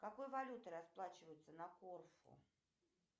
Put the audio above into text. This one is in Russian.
какой валютой расплачиваются на корфу